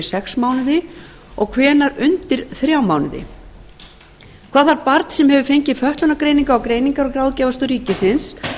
sex mánuði og hvenær undir þrjá mánuði annan hvað þarf barn sem hefur fengið fötlunargreiningu á greiningar og ráðgjafarstöð ríkisins